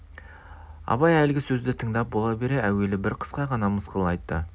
абай әлгі сөзді тыңдап бола бере әуелі бір қысқа ғана мысқыл айтты